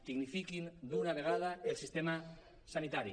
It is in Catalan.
dignifiquin d’una vegada el sistema sanitari